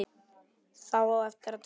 Þá á eftir að teikna.